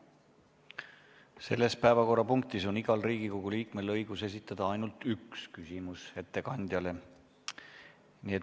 Selle päevakorrapunkti arutelu ajal on igal Riigikogu liikmel õigus esitada ettekandjale ainult üks küsimus.